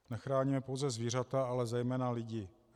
Nechráníme pouze zvířata, ale zejména lidi.